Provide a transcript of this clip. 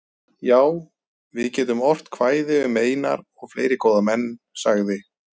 Já, við getum ort kvæði um Einar og fleiri góða menn, sagði